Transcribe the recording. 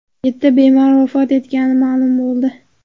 Yetti bemor vafot etgani ma’lum bo‘ldi.